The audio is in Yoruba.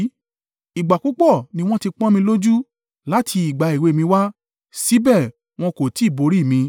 “Ìgbà púpọ̀ ni wọ́n ti pọ́n mi lójú láti ìgbà èwe mi wá; síbẹ̀ wọn kò tí ì borí mi.